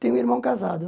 Tenho um irmão casado.